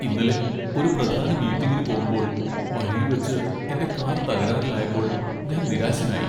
ഇന്നലെ ഒരു പ്രധാന മീറ്റിംഗിന് പോകുമ്പോൾ വഴിയിൽ വച്ച് എന്റെ കാർ തകരാറിലായപ്പോൾ ഞാൻ നിരാശനായി.